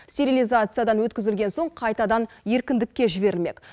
стерилизациядан өткізілген соң қайтадан еркіндікке жіберілмек